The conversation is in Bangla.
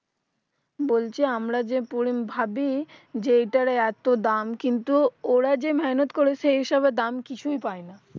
বলছি আমরা যে পরি ভাবি যে এটার এতো দাম কিন্তু ওরা যে মেহেনত করে সে হিসাবে দাম কিছুই পায় না